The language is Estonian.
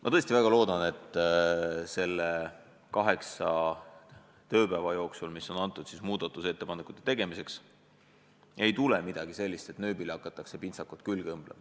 Ma tõesti väga loodan, et selle kaheksa tööpäeva jooksul, mis on antud muudatusettepanekute tegemiseks, ei tule välja midagi sellist, mis tähendaks püüet nööbile pintsak külge õmmelda.